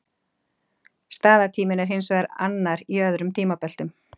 Staðartíminn er hins vegar annar í öðrum tímabeltum.